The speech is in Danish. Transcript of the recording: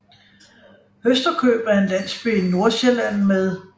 Høsterkøb er en landsby i Nordsjælland med